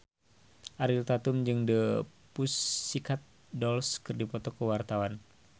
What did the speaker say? Ariel Tatum jeung The Pussycat Dolls keur dipoto ku wartawan